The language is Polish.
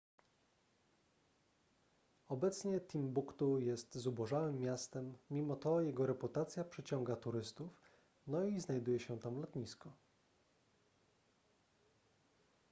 obecnie timbuktu jest zubożałym miastem mimo to jego reputacja przyciąga turystów no i znajduje się tam lotnisko